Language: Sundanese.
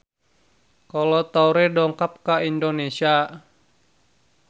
Kolo Taure dongkap ka Indonesia